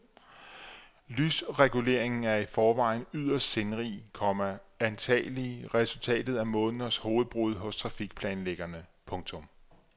Lysreguleringen er i forvejen yderst sindrig, komma antagelig resultat af måneders hovedbrud hos trafikplanlæggere. punktum